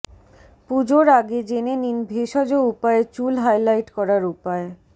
পুজোর আগে জেনে নিন ভেষজ উপায়ে চুল হাইলাইট করার উপায়